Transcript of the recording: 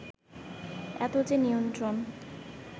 এত যে নিয়ন্ত্রণ